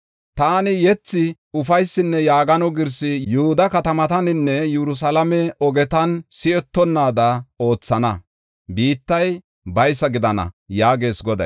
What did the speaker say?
Taani yethi, ufaysinne yaagano girsi Yihuda katamataninne Yerusalaame ogetan si7etonnaada oothana; biittay baysa gidana” yaagees Goday.